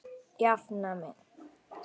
Jafna mig!